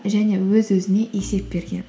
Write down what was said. және өз өзіне есеп берген